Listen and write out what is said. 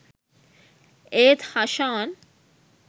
ඒත් හෂාන්